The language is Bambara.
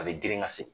A bɛ girin ka se